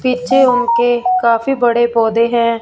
पीछे उनके के काफी बड़े पौधे हैं।